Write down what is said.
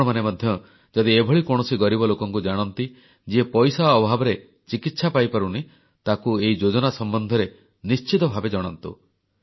ଆପଣମାନେ ମଧ୍ୟ ଯଦି ଏଭଳି କୌଣସି ଗରିବ ଲୋକଙ୍କୁ ଜାଣନ୍ତି ଯିଏ ପଇସା ଅଭାବରେ ଚିକିତ୍ସା ପାଇପାରୁନି ତାକୁ ଏଇ ଯୋଜନା ସମ୍ବନ୍ଧରେ ନିଶ୍ଚିତ ଭାବେ ଜଣାନ୍ତୁ